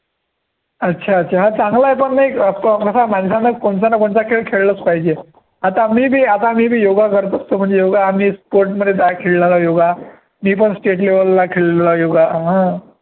अच्छा, अच्छा, चांगलं आहे पण मग एक माणसानं कोणता ना कोणता खेळ खेळलाच पाहिजे, आता मी बी आता मी बी योगा करत असतो, म्हणजे योगा आम्ही मध्ये जा खेळणारा योगा मी पण state level ला खेळणारा योगा